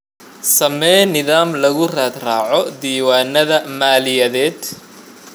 Samee nidaam lagu raad raaco diiwaannada maaliyadeed.